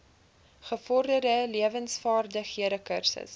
gevorderde lewensvaardighede kursus